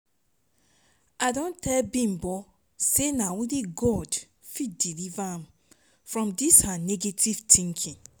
i don tell bimbo say na only god fit deliver am from dis her negative thinking